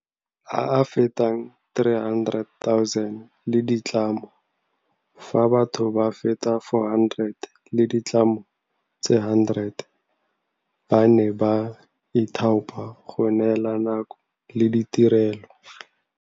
A a fetang 300 000 le ditlamo, fa batho ba feta 400 le ditlamo tse 100 ba ne ba ithaopa go neela nako le ditirelo.